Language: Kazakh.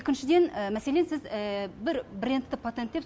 екіншіден мәселен сіз бір брендті патент деп